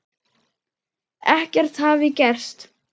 Ekkert hafi gerst.